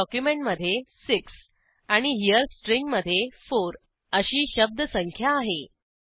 हेरे डॉक्युमेंटमधे 6 आणि हेरे स्ट्रिंगमधे 4 अशी शब्दसंख्या आहे